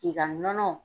K'i ka nɔnɔ